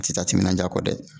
A tɛ taa timinadiya kɔ dɛ